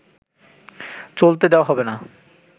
চলতে দেওয়া হবে না